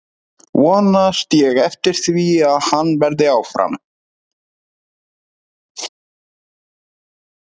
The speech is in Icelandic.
Vonast ég eftir því að hann verði áfram?